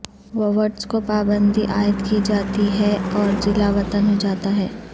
woods کو پابندی عائد کی جاتی ہے اور جلاوطن ہوجاتا ہے